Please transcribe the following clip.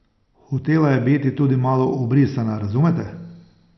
Hotela je biti tudi malo ubrisana, razumete?